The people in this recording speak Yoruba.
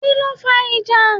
Kíló fa ìjà?